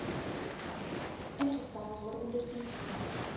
ingestel waaronder dienste